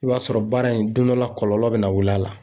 I b'a sɔrɔ, baara in , don dɔ la kɔlɔlɔ bɛ na wuli a la.